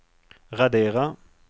radera